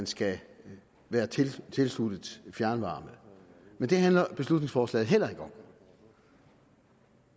skal være tilsluttet fjernvarme men det handler beslutningsforslaget heller ikke om